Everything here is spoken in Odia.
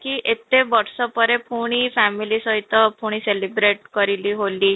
ଏତେ ବର୍ଷ ପରେ ପୁଣି family ସହିତ ପୁଣି celebrate କରିଲି ହୋଲି